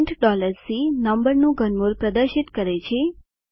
print C નંબરનું ઘનમૂળ પ્રદર્શિત કરે છે